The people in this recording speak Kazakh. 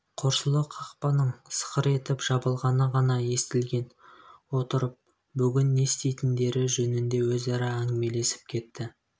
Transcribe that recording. қорсылы қақпаның сықыр етіп жабылғаны ғана естілген отырып бүгін не істейтіндері жөнінде өзара әңгімелесіп кетті